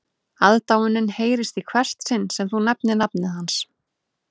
Aðdáunin heyrist í hvert sinn sem þú nefnir nafnið hans